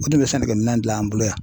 O sigin be sɛnɛkɛ minɛn gilan an bolo yan